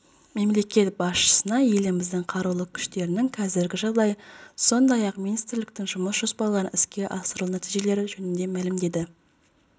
мемлекет басшысына еліміздің қарулы күштерінің қазіргі жағдайы сондай-ақ министрліктің жұмыс жоспарларының іске асырылу нәтижелері жөнінде мәлімделді